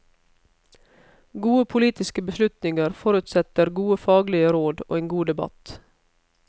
Gode politiske beslutninger forutsetter gode faglige råd og en god debatt.